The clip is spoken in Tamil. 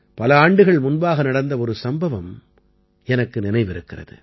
பல ஆண்டுகள் முன்பாக நடந்த ஒரு சம்பவம் எனக்கு நினைவிருக்கிறது